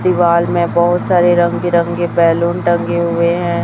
दीवाल में बहोत सारे रंग बिरंगे बैलून टंगे हुए हैं।